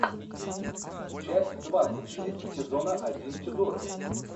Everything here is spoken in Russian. часть двадцать шесть сезона один тюдоры